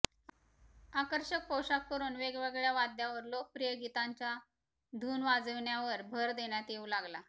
आकर्षक पोषाख करून वेगवेगळ्या वाद्यावर लोकप्रिय गीतांच्या धून वाजविण्यावर भर देण्यात येऊ लागला